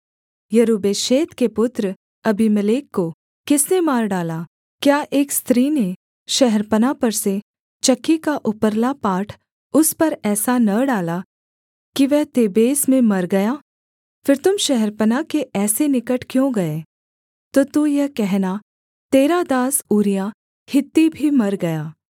यरूब्बेशेत के पुत्र अबीमेलेक को किसने मार डाला क्या एक स्त्री ने शहरपनाह पर से चक्की का उपरला पाट उस पर ऐसा न डाला कि वह तेबेस में मर गया फिर तुम शहरपनाह के ऐसे निकट क्यों गए तो तू यह कहना तेरा दास ऊरिय्याह हित्ती भी मर गया